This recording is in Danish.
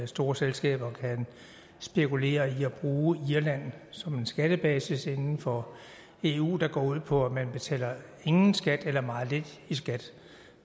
store selskaber kan spekulere i at bruge irland som en skattebasis inden for eu der går ud på at man betaler ingen skat eller meget lidt i skat